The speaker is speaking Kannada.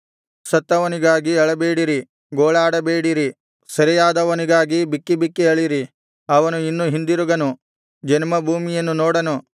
ಸತ್ತವನಿಗಾಗಿ ಅಳಬೇಡಿರಿ ಗೋಳಾಡಬೇಡಿರಿ ಸೆರೆಯಾದವನಿಗಾಗಿ ಬಿಕ್ಕಿಬಿಕ್ಕಿ ಅಳಿರಿ ಅವನು ಇನ್ನು ಹಿಂದಿರುಗನು ಜನ್ಮಭೂಮಿಯನ್ನು ನೋಡನು